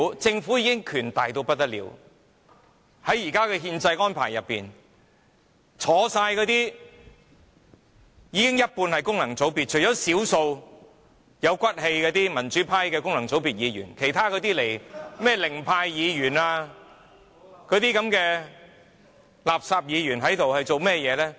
政府的權力已很大，因為在現時的憲制安排下，在席的有一半是功能界別議員，當中除了少數有骨氣的民主派功能界別議員之外，那些零票當選的議員和垃圾議員做了些甚麼？